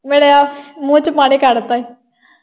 ਮੇਰੇ ਮੂੰਹ ਚੋਂ ਪਾਣੀ ਕੱਢ ਤਾ ਹੀ।